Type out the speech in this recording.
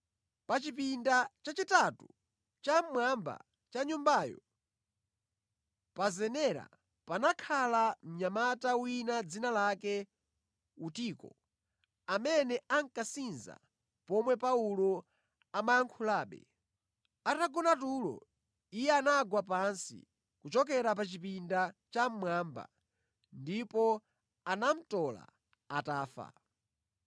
Pa chipinda chachitatu chammwamba cha nyumbayo, pa zenera, panakhala mnyamata wina dzina lake Utiko, amene ankasinza pomwe Paulo amayankhulabe. Atagona tulo, iye anagwa pansi kuchokera pa chipinda chammwamba ndipo anamutola atafa.